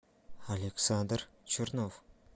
александр чернов